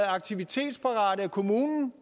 aktivitetsparate af kommunen